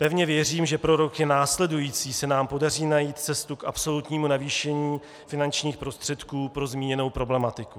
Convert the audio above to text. Pevně věřím, že pro roky následující se nám podaří najít cestu k absolutnímu navýšení finančních prostředků pro zmíněnou problematiku.